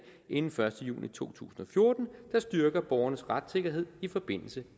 inden første juni to tusind og fjorten der styrker borgernes retssikkerhed i forbindelse